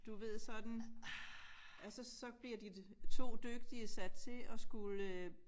Du ved sådan ja så så bliver de 2 dygtige sat til at skulle øh